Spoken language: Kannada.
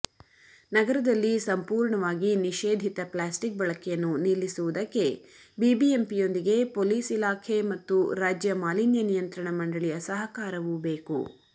ನಗರದಲ್ಲಿ ಸಂಪೂರ್ಣವಾಗಿ ನಿಷೇಧಿತ ಪ್ಲಾಸ್ಟಿಕ್ ಬಳಕೆಯನ್ನು ನಿಲ್ಲಿಸುವುದಕ್ಕೆ ಬಿಬಿಎಂಪಿಯೊಂದಿಗೆ ಪೊಲೀಸ್ಇಲಾಖೆ ಮತ್ತು ರಾಜ್ಯ ಮಾಲಿನ್ಯ ನಿಯಂತ್ರಣ ಮಂಡಳಿಯ ಸಹಕಾರವೂ ಬೇಕು